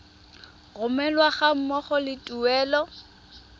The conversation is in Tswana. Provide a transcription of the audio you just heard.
romelwa ga mmogo le tuelo